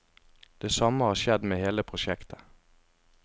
Det samme har skjedd med hele prosjektet.